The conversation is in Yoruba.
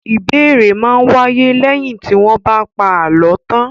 Ìbéèrè máa ń wáyé lẹ́yìn tí wọ́n bá ti pa àlọ́ tán.